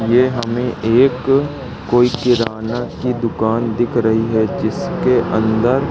ये हमें एक कोई किरणा की दुकान दिख रही है जिसके अंदर--